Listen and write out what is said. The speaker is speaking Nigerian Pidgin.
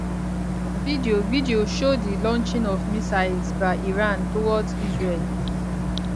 video video show di launching of missiles by iran towards israel